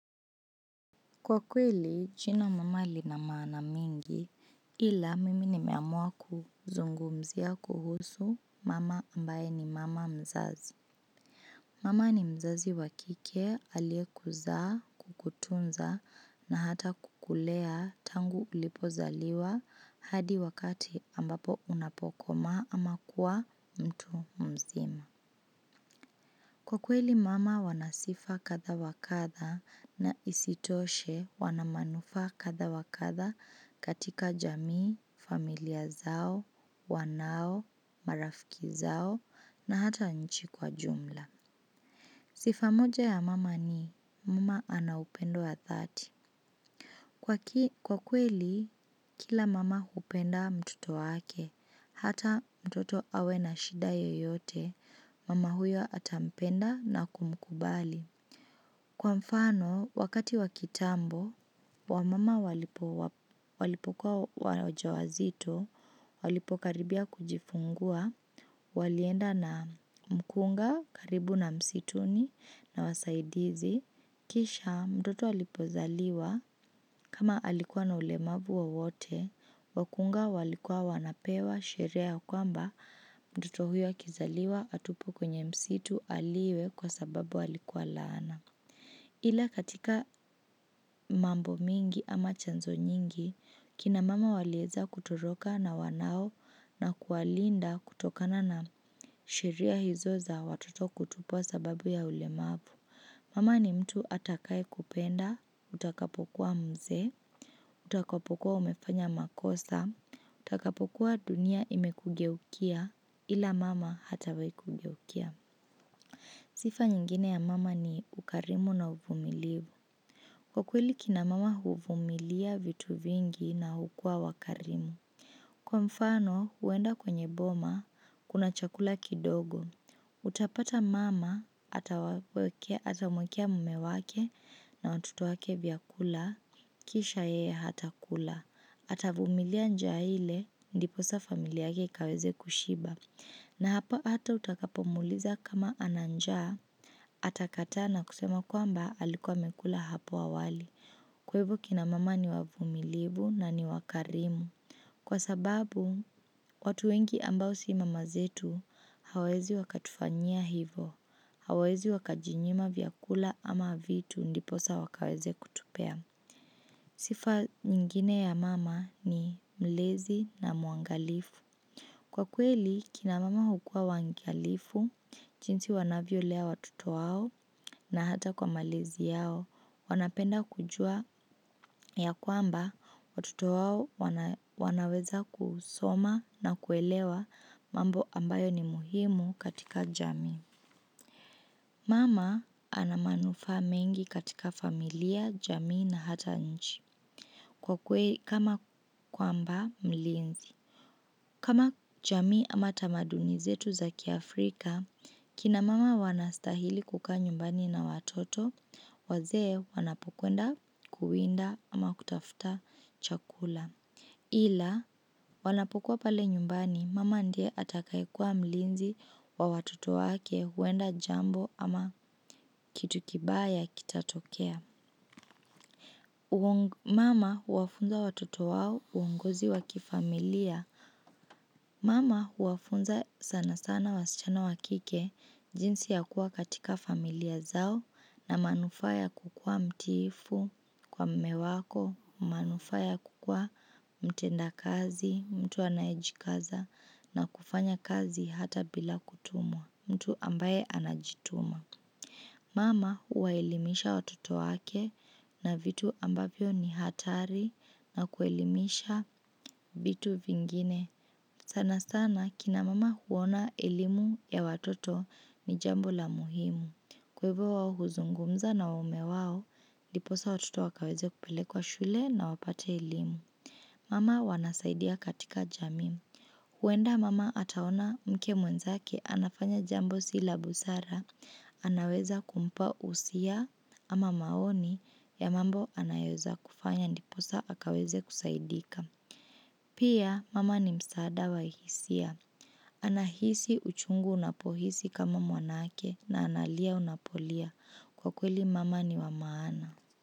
Kwa kweli, jina mama linamaana mingi ila mimi nimeamua kuzungumzia kuhusu mama ambaye ni mama mzazi. Mama ni mzazi wa kike, aliyekuzaa, kukutunza na hata kukulea tangu ulipozaliwa hadi wakati ambapo unapokoma ama kuwa mtu mzima. Kwa kweli mama wanasifa kadha wakadha na isitoshe wanamanufaa kadha wakadha katika jamii, familia zao, wanao, marafiki zao na hata nchi kwa jumla. Sifa moja ya mama ni mama anaupendo wa dhati. Kwa kweli, kila mama hupenda mtoto wake, hata mtoto awe na shida yoyote, mama huyo ata mpenda na kumkubali. Kwa mfano, wakati wa kitambo, wamama walipokuwa waja wazito, walipokaribia kujifungua, walienda na mkunga karibu na msituni na wasaidizi. Kisha mtoto alipozaliwa kama alikuwa na ulemavu wowote, wakunga walikuwa wanapewa sherie ya kwamba mtoto huyo akizaliwa atupwe kwenye msitu aliwe kwa sababu alikuwa laana. Ila katika mambo mingi ama chanzo nyingi, kina mama waliweza kutoroka na wanao na kuwalinda kutokana na sheria hizo za watoto kutupwa sababu ya ulemavu. Mama ni mtu atakaye kupenda, utakapokuwa mzee, utakapokuwa umefanya makosa, utakapokuwa dunia imekugeukia ila mama hatawai kugeukia. Sifa nyingine ya mama ni ukarimu na uvumilivu. Kwa kweli kina mama huvumilia vitu vingi na hukuwa wakarimu. Kwa mfano, huenda kwenye boma, kuna chakula kidogo. Utapata mama, atamwekea mume wake na watoto wake vyakula, kisha yeye hatakula. Atavumilia njaa ile, ndiposa famili yake ikaweze kushiba. Na hapa hata utakapo muuliza kama ana njaa. Atakataa na kusema kwamba alikuwa amekula hapo awali. Kwa hivyo kina mama ni wavumilivu na ni wakarimu. Kwa sababu, watu wengi ambao si mama zetu hawawezi wakatufanyia hivo, hawawezi wakajinyima vyakula ama vitu ndiposa wakaweze kutupea. Sifa nyingine ya mama ni mlezi na mwangalifu. Kwa kweli kina mama hukuwa waangalifu jinsi wanavyolea watoto wao na hata kwa malezi yao wanapenda kujua ya kwamba watoto wao wanaweza kusoma na kuelewa mambo ambayo ni muhimu katika jamii. Mama anamanufaa mengi katika familia, jamii na hata nchi. Kwa kweli, kama kwamba mlinzi. Kama jamii ama tamaduni zetu za kia Afrika, kina mama wanastahili kukaa nyumbani na watoto, wazee wanapokwenda kuwinda ama kutafuta chakula. Ila wanapokuwa pale nyumbani mama ndiye atakaye kuwa mlinzi wa watoto wake huenda jambo ama kitu kibaya kitatokea. Mama huwafunza watoto wao uongozi wa kifamilia. Mama huwafunza sana sana wasichana wa kike jinsi ya kuwa katika familia zao na manufaa ya kukuwa mtiifu kwa mume wako, manufaa ya kukuwa mtenda kazi, mtu anayejikaza na kufanya kazi hata bila kutumwa mtu ambaye anajituma. Mama huwa elimisha watoto wake na vitu ambavyo ni hatari na kuelimisha vitu vingine. Sana sana kina mama huona elimu ya watoto ni jambo la muhimu. Kwa hivo huzungumza na mume wao, ndiposa watoto wakaweze kupelekwa shule na wapate elimu. Mama wanasaidia katika jamii. Huenda mama ataona mke mwenzake anafanya jambo si la busara, anaweza kumpa husia ama maoni ya mambo anayoweza kufanya ndiposa akaweze kusaidika. Pia mama ni msaada wa hisia. Ana hisi uchungu unapohisi kama mwanake na analia unapolia. Kwa kweli mama ni wa maana.